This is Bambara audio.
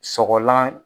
Sɔgɔlan